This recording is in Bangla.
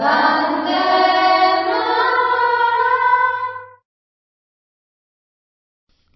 বন্দেমাতরম